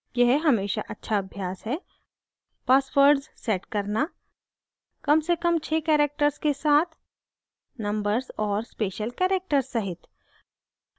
यह हमेशा अच्छा अभ्यास है